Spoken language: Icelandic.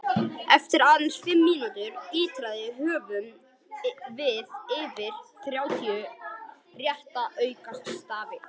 Eftir aðeins fimm ítranir höfum við yfir þrjátíu rétta aukastafi!